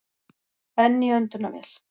Enn í öndunarvél